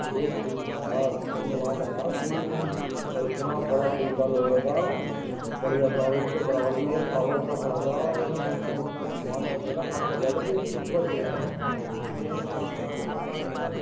एक पुल था यार जब में वहा गया दिल्ली और इतना बड़ा पुल था लोहे का बढ़िया सा और उसके बराबर में एक टावर सा खड़ा था और मौसम इतना हो गया था मन कर रहा था कि इस पुल पर चले जाऊं कितना अच्छा --